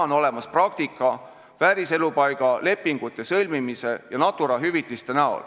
On olemas praktika: vääriselupaiga lepingute sõlmimine ja Natura hüvitised.